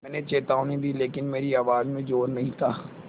मैंने चेतावनी दी लेकिन मेरी आवाज़ में ज़ोर नहीं था